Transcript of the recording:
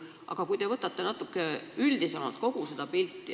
Aga vaadake kogu seda pilti natuke üldisemalt.